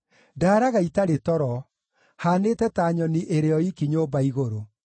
Ndaaraga itarĩ toro; haanĩte ta nyoni ĩrĩ o iiki nyũmba igũrũ.